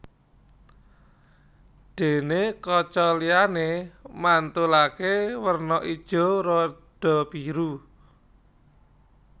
Déné kaca liyané mantulaké werna ijo rada biru